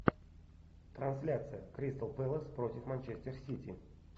трансляция кристал пэлас против манчестер сити